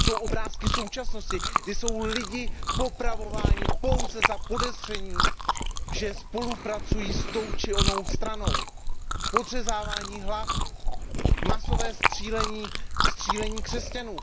To jsou obrázky současnosti, kde jsou lidi popravováni pouze za podezření, že spolupracují s tou či onou stranou. Podřezávání hlav, masové střílení, střílení křesťanů.